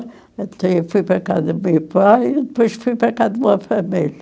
Então eu fui para cá do meu pai e depois fui para cá de uma família.